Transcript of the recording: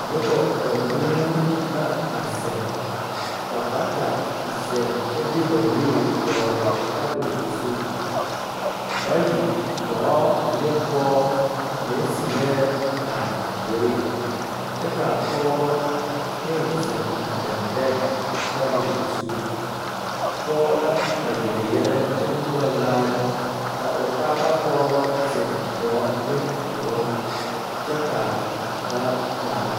Noba banuu la zeŋ a zeŋ ka bata zeŋ kyɛ de Ba nuure tabol zu pɔge la a yeli yɛllɛ kyɛ more laare ka o taa pɔgeba zeŋ gɔɔ ne duluŋ kyɛ ka ba laare.